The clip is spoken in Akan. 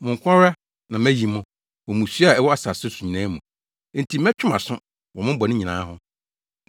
“Mo nko ara na mayi mo wɔ mmusua a ɛwɔ asase so nyinaa mu; enti mɛtwe mo aso wɔ mo bɔne nyinaa ho.”